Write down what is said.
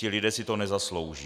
Ti lidé si to nezaslouží.